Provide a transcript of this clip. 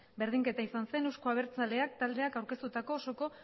berdinketa izan zen euzko abertzaleak taldeak aurkeztutako osoko